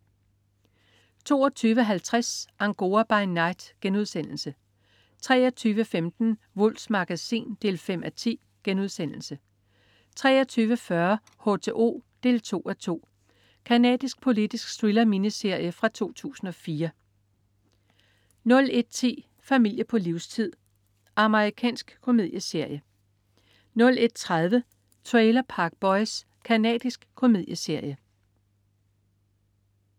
22.50 Angora by night* 23.15 Wulffs Magasin 5:10* 23.40 H2O 2:2. Canadisk politisk thriller-miniserie fra 2004 01.10 Familie på livstid. Amerikansk komedieserie 01.30 Trailer Park Boys. Canadisk komedieserie